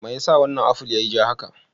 Me yasa wannan aful yiyi ja haka?